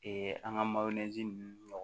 an ka ninnu ɲɔgɔn